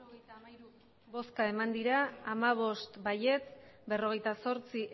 botoak hirurogeita hamairu bai hamabost ez berrogeita zortzi